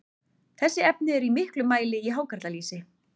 þessi efni eru í miklum mæli í hákarlalýsi